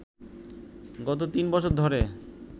গত তিন বছর ধরে